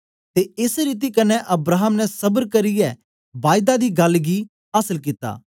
ते एस रीति कन्ने अब्राहम ने सबर करियै बायदा दी गल्ल आसल कित्ता